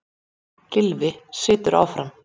Gylfi situr áfram